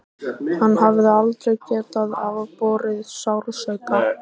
Hann hafði aldrei getað afborið sársauka.